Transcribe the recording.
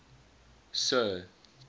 sir